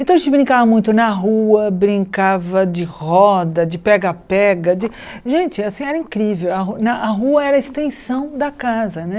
Então a gente brincava muito na rua, brincava de roda, de pega-pega, de gente, assim, era incrível, a a rua era a extensão da casa, né?